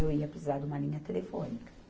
Eu ia precisar de uma linha telefônica.